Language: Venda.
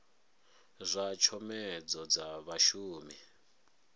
zwa tshomedzo dza zwa vhashumi